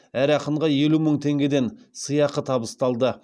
әр ақынға елу мың теңгеден сыйақы табысталды